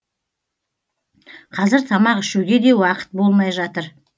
қазір тамақ ішуге де уақыт болмай жатыр